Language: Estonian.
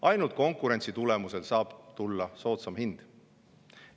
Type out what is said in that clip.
Ainult konkurentsi tulemusel saab tulla soodsam hind.